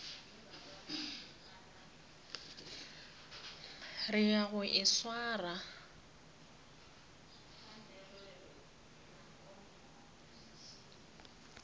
re ya go e swara